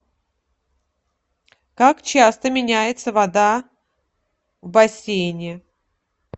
как часто меняется вода в бассейне